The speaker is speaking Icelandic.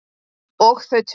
Og þau töl